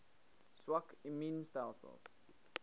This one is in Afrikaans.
swak immuun stelsels